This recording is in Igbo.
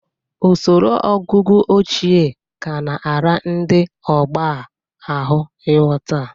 Usoro ọgụgụ ochie ga na-ara ndị ọgbọ a ahụ ịghọta.